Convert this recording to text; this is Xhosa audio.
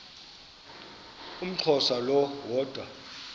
umxhosa lo woda